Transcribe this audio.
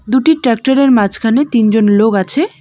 দুটি ট্রাক্টরের মাঝখানে তিনজন লোগ আছে।